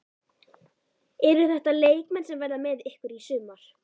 Eru þetta leikmenn sem verða með ykkur í sumar?